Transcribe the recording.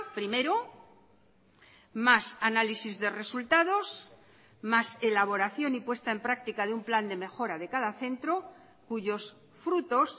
primero más análisis de resultados más elaboración y puesta en práctica de un plan de mejora de cada centro cuyos frutos